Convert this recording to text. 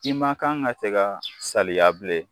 I ma kan ka se ka saliya bilen